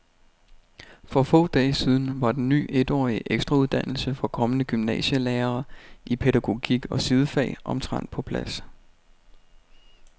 For få dage siden var den ny etårige ekstrauddannelse for kommende gymnasielærere i pædagogik og sidefag omtrent på plads.